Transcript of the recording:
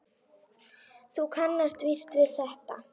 Þú kannast víst við þetta!